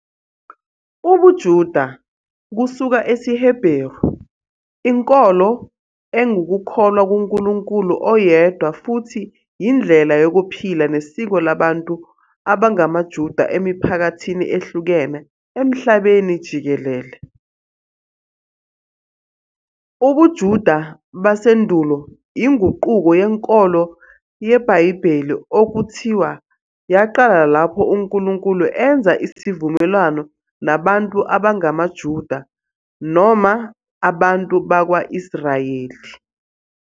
UbuJuda, kusuka esiHebheru, inkolo engukukholwa kuNkulunkulu oyedwa futhi yindlela yokuphila nesiko labantu abangamaJuda emiphakathini ehlukene emhlabeni jikelele. UbuJuda basendulo inguquko yenkolo yeBhayibheli okuthiwa yaqala lapho uNkulunkulu enza isivumelwano nabantu abangamaJuda, noma abantu bakwa-Israyeli.